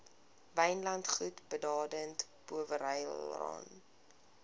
wynlandgoed baden powellrylaan